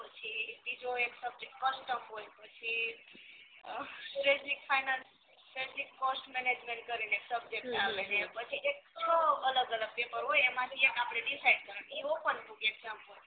પછી બીજો એક subject custom હોય પછી આહ twenty first management કરીને એક subject આવે હમ પછી એક છ અલગ અલગ પેપર હોય એમાંથી એક આપડે decide કરવાનો ઇ open exam હોય